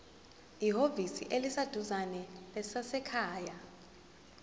ehhovisi eliseduzane lezasekhaya